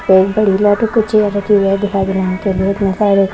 बउ बड़ी लाइट ओ के चेयर रखी हुई है दिखायी दे रहा हैं--